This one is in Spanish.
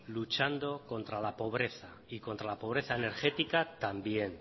luchando contra la pobreza y contra la pobreza energética también